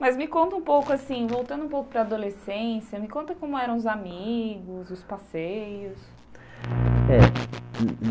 Mas me conta um pouco assim, voltando um pouco para a adolescência, me conta como eram os amigos, os passeios.